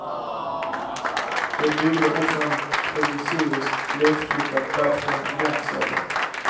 De byggde också en provisorisk, lättflyttad plattform i väntsalen.